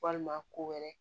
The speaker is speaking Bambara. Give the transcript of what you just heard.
Walima ko wɛrɛ